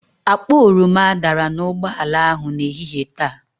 Akpa oroma dara n'ụgbọala ahụ n'ehihie taa.